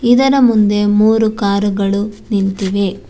ಇದರ ಮುಂದೆ ಮೂರು ಕಾರುಗಳು ನಿಂತಿವೆ.